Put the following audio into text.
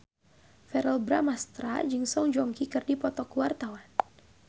Verrell Bramastra jeung Song Joong Ki keur dipoto ku wartawan